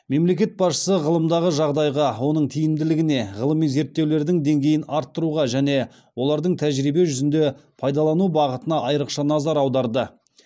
мемлекет басшысы ғылымдағы жағдайға оның тиімділігіне ғылыми зерттеулердің деңгейін арттыруға және олардың тәжірибе жүзінде пайдалану бағытына айрықша назар аударды